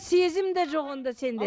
сезім де жоқ онда сенде